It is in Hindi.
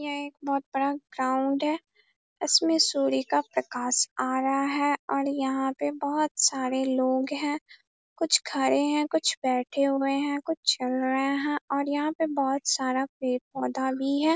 यह एक बोहोत बड़ा ग्राउंड है। इसमें सूर्य का प्रकाश आ रहा है और यहाँ पे बहुत सारे लोग हैं। कुछ खरे हैं कुछ बैठे हुए हैं कुछ चल रहे हैं और यहाँ पे बहोत सारा पेड़-पौधा भी है।